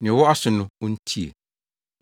Nea ɔwɔ aso no, ontie!